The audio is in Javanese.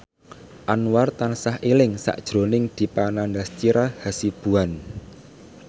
Anwar tansah eling sakjroning Dipa Nandastyra Hasibuan